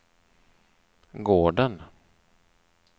gården